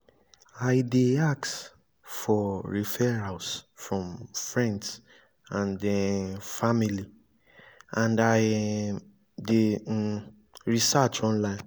i dey ask for referrals from friends and um family and i um dey um research online.